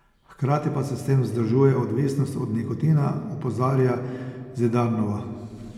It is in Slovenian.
Hkrati pa se s tem vzdržuje odvisnost od nikotina, opozarja Zidarnova.